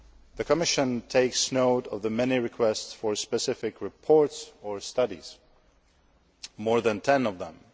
The Commission takes note of the many requests for specific reports or studies more than 10 of them.